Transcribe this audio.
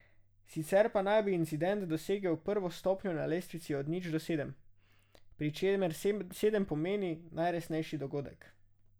Sicer pa naj bi incident dosegel prvo stopnjo na lestvici od nič do sedem, pri čemer sedem pomeni najresnejši dogodek.